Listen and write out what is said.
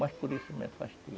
Mas por isso eu me afastei.